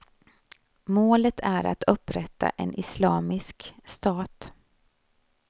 Målet är att upprätta en islamisk stat.